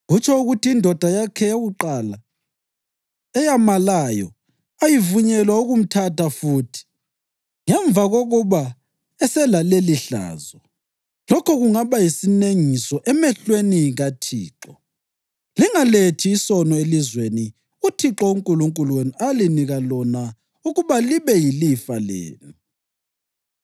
kutsho ukuthi indoda yakhe yakuqala, eyamalayo, ayivunyelwa ukumthatha futhi ngemva kokuba eselalelihlazo. Lokho kungaba yisinengiso emehlweni kaThixo. Lingalethi isono elizweni uThixo uNkulunkulu wenu alinika lona ukuba libe yilifa lenu.